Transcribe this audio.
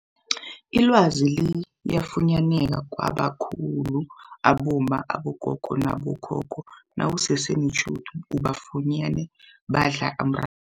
Ilwazi liyafunyaneka kwabakhulu abomma, abogogo nabo khokho nawusese netjhudu ubafunyene badla umra